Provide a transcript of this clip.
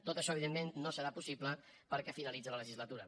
tot això evidentment no serà possible perquè finalitza la legislatura